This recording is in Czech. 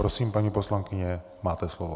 Prosím, paní poslankyně, máte slovo.